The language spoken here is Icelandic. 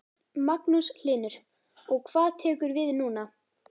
Magnús Hlynur: Og hvað tekur við núna?